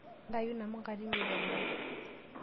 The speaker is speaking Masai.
Ntayu inamuka tine te boo.